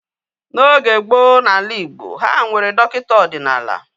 N'oge gboo n'ala Igbo, ha nwere dọkịta ọdịnala